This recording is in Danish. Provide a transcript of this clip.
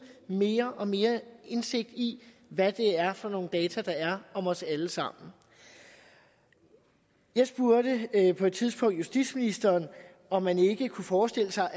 mere og mere indsigt i hvad for nogle data der er om os alle sammen jeg spurgte på et tidspunkt justitsministeren om man ikke kunne forestille sig